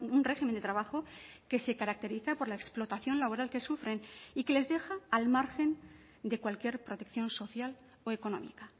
un régimen de trabajo que se caracteriza por la explotación laboral que sufren y que les deja al margen de cualquier protección social o económica